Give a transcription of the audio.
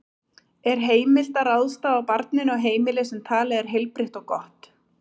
Er heimilt að ráðstafa barninu á heimili sem talið er heilbrigt og gott?